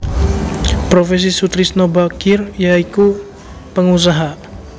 Profesi Soetrisno Bachir ya iku pengusaha